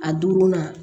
A duurunan